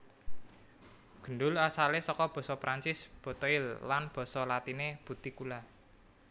Gendul asalé saka basa Prancis boteille lan basa latiné butticula